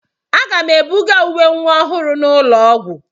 Aga m ebuga uwe nwa ọhụrụ n'ụlọ ọgwụ.